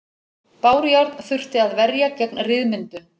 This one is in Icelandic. Bárujárn þurfti að verja gegn ryðmyndun.